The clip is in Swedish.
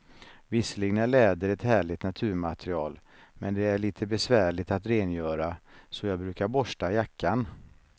Visserligen är läder ett härligt naturmaterial, men det är lite besvärligt att rengöra, så jag brukar borsta jackan.